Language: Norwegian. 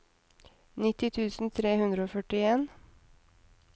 nitti tusen tre hundre og førtien